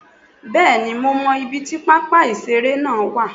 Bẹ́ẹ̀ni mo mo ibi tí pápá ìṣeré náà wà